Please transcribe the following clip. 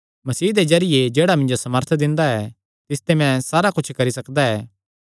मसीह दे जरिये जेह्ड़ा मिन्जो सामर्थ दिंदा ऐ तिस च मैं सारा कुच्छ करी सकदा ऐ